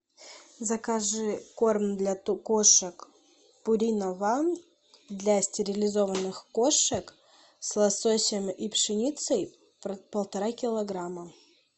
закажи корм для кошек пурина ван для стерилизованных кошек с лососем и пшеницей полтора килограмма